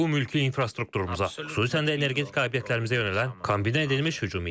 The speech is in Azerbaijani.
Bu mülki infrastrukturumuza, xüsusən də energetika obyektlərimizə yönələn kombinə edilmiş hücum idi.